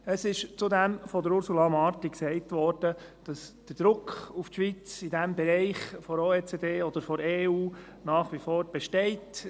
Es wurde von Ursula Marti zudem gesagt, dass der Druck auf die Schweiz durch die Organisation for Economic Co-operation and Development (OECD) oder der EU in diesem Bereich nach wie vor besteht.